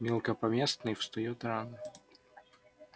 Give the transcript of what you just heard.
мелкопоместный встаёт рано